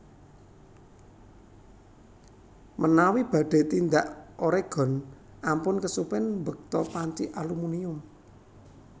Menawi badhe tindak Oregon ampun kesupen mbekta panci alumunium